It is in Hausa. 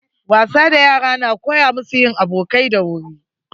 Wasa da yara na koya musu yin abokai da wuri.